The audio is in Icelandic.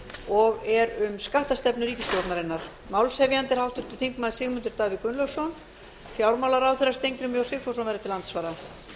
og er um skattstefnu ríkisstjórnarinnar málshefjandi er háttvirtur þingmaður sigmundur davíð gunnlaugsson og fjármálaráðherra steingrímur j sigfússon verður til andsvara